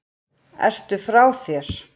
Ertu frá þér!